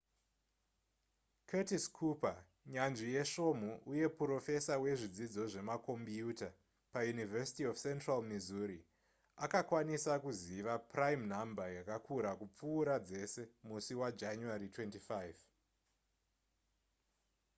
curtis cooper nyanzvi yesvomhu uye purofesa wezvidzidzo zvemakombiyuta pauniversity of central missouri akakwanisa kuziva prime number yakakura kupfuura dzese musi wajanuary 25